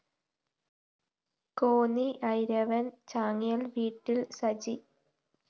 കോന്നി ഐരവണ്‍ ചാങ്ങേല്‍ വീട്ടില്‍ സജി